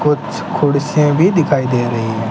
कुछ कुर्सियां भी दिखाई दे रही है।